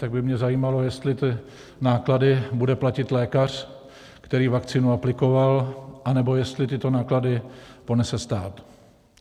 Tak by mě zajímalo, jestli ty náklady bude platit lékař, který vakcínu aplikoval, anebo jestli tyto náklady ponese stát.